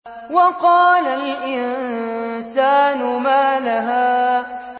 وَقَالَ الْإِنسَانُ مَا لَهَا